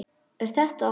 Er þetta.?